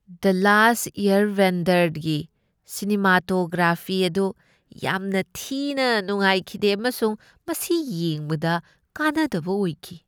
ꯗ last ꯑꯦꯌꯔꯕꯦꯟꯗꯔꯒꯤ cinematography ꯑꯗꯨ ꯌꯥꯝꯅ ꯊꯤꯅ ꯅꯨꯡꯉꯥꯏꯈꯤꯗꯦ ꯑꯃꯁꯨꯡ ꯃꯁꯤ ꯌꯦꯡꯕꯗ ꯀꯥꯟꯅꯗꯕ ꯑꯣꯏꯈꯤ ꯫